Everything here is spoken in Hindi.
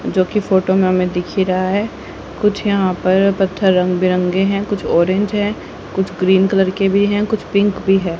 जोकि फोटो मे हमे दिख ही रहा है कुछ यहां पर पत्थर रंग बिरंगे है कुछ ऑरेंज है कुछ ग्रीन कलर के भी है कुछ पिक भी है।